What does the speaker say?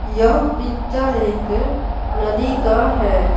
यह पिक्चर एक नदी का है।